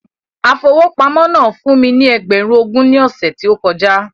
Afowópamọ́ náà fún mí ní ẹgbẹ̀run ogún ní ọsẹ ti o kọjá